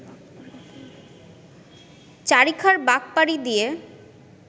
চারিখার বাঁক পাড়ি দিয়ে